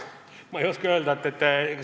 Ma ei oska öelda.